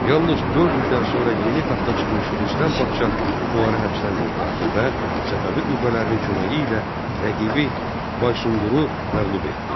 Yalnız dörd ildən sonra yeni taxta çıxmış Rüstəm padşah onları həbsdən qurtardı və Səfəvi qüvvələrinin köməyi ilə rəqibi Baysunquru məğlub etdi.